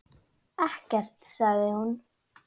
Ekkert, sagði hún.